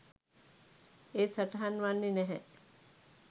එය සටහන් වන්නෙ නැහැ.